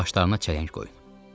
Başlarına çələng qoyun.